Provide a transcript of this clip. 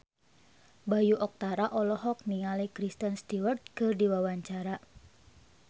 Bayu Octara olohok ningali Kristen Stewart keur diwawancara